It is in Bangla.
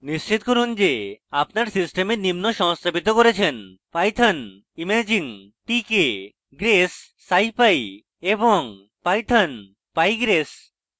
নিশ্চিত করুন যে আপনি আপনার সিস্টেমে নিম্ন সংস্থাপিত করেছেন